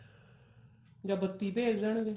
ਜਾਂ ਬੱਤੀ ਭੇਜ ਦੇਣਗੇ